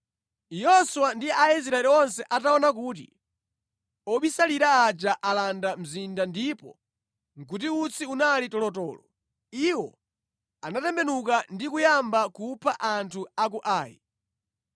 Yoswa ndi Aisraeli onse ataona kuti obisalira aja alanda mzinda ndipo kuti utsi unali tolotolo, iwo anatembenuka ndi kuyamba kupha anthu a ku Ai.